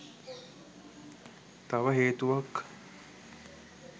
තව හේතුවක්.